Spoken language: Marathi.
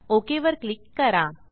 ओक वर क्लिक करा